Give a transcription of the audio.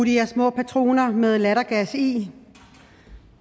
her små patroner med lattergas i